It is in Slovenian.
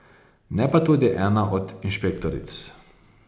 Ne pa tudi ena od inšpektoric.